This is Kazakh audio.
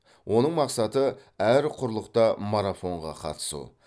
оның мақсаты әр құрлықта марафонға қатысу